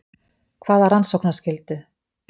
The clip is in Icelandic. Hvaða rannsóknarskyldu?